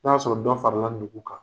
N'a y'a sɔrɔ dɔn farala nugu kan.